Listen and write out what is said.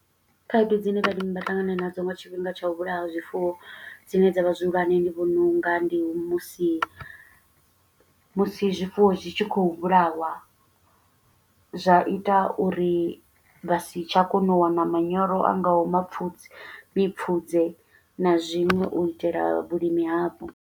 Khaedu dzine vhalimi vha ṱangana nadzo nga tshifhinga tsha u vhulaya zwifuwo, dzine dza vha zwihulwane ndi vhona unga, ndi musi musi zwifuwo zwi tshi khou vhulawa, zwa ita uri vha si tsha kona u wana manyoro a ngaho mapfu mipfudze, na zwiṅwe. U itela vhulimi havho.